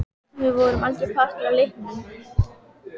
En hvert skyldi svo leyndarmálið vera?